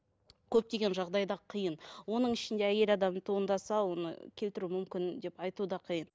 көптеген жағдайда қиын оның ішінде әйел адам туындаса оны келтіру мүмкін деп айту да қиын